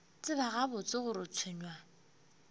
tseba gabotse gore o tshwenywa